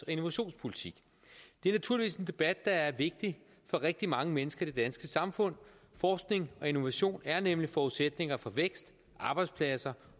og innovationspolitik det er naturligvis en debat der er vigtig for rigtig mange mennesker i det danske samfund forskning og innovation er nemlig forudsætninger for vækst arbejdspladser